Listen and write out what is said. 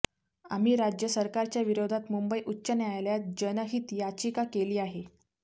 आम्ही राज्य सरकारच्याविरोधात मुंबई उच्च न्यायालयात जनहित याचिका केली आहे